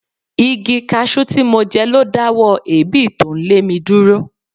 Igi cashew tí mo jẹ lo dáwọ́ èébì tó ń lé mi dúró.